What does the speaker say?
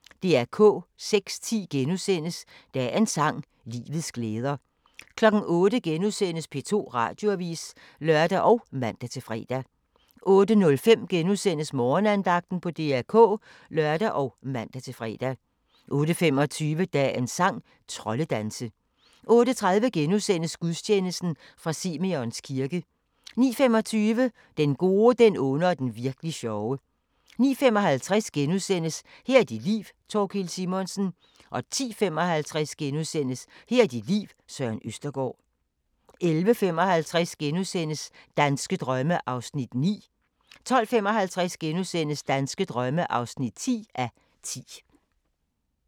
06:10: Dagens sang: Livets glæder * 08:00: P2 Radioavis *(lør og man-fre) 08:05: Morgenandagten på DR K *(lør og man-fre) 08:25: Dagens sang: Troldedanse 08:30: Gudstjeneste fra Simeons kirke * 09:25: Den gode, den onde og den virk'li sjove 09:55: Her er dit liv - Thorkild Simonsen * 10:55: Her er dit liv – Søren Østergaard * 11:55: Danske drømme (9:10)* 12:55: Danske drømme (10:10)*